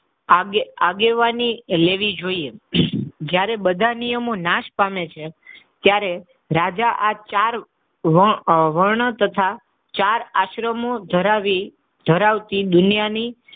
આગે આગેવાની લેવી જોઈએ. જ્યારે બધા નિયમો નાશ પામે છે ત્યારે રાજા આ ચાર વર્ણ, વર્ણ તથા ચાર આશ્રમો ધરાવી ધરાવતી દુનિયાની,